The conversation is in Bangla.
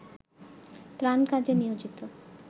ত্রাণ কাজে নিয়োজিত